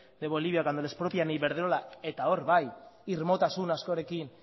de bolivia cuando le expropian a iberdrola eta hor bai irmotasun askorekin